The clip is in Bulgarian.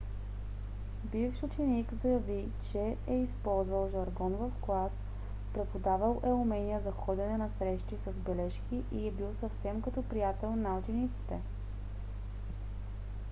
бивш ученик заяви че е използвал жаргон в клас преподавал е умения за ходене на срещи с бележки и е бил съвсем като приятел на учениците.